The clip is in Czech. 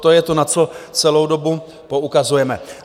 To je to, na co celou dobu poukazujeme.